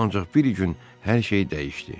Ancaq bir gün hər şey dəyişdi.